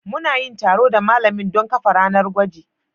Mu na yin taro da malamin don kafa sabon ranar gwajin